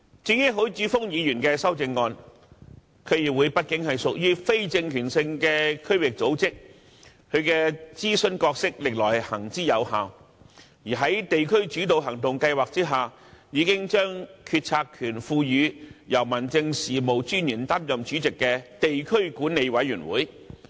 至於許智峯議員的修正案，區議會畢竟屬於非政權性的區域組織，其諮詢角色歷來行之有效，而在地區主導行動計劃下，已將決策權賦予由民政事務專員擔任主席的地區管理委員會。